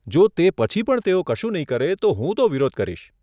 જો તે પછી પણ તેઓ કશું નહીં કરે તો, હું તો વિરોધ કરીશ.